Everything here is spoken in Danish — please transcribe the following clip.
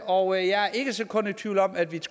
og jeg er ikke et sekund i tvivl om at vi